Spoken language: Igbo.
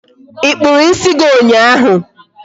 Ị kpụrụ ịsị gị ụnyaahụ?